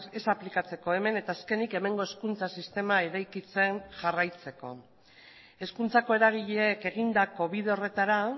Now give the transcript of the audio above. ez aplikatzeko hemen eta azkenik hemengo hezkuntza sistema eraikitzen jarraitzeko hezkuntzako eragileek egindako bide horretara